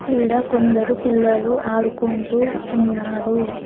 ఈడ కొందరు పిల్లలు ఆడుకుంటూ ఉన్నారు.